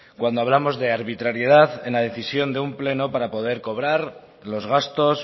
cuando hablamos de arbitrariedad en la decisión de un pleno para poder cobrar los gastos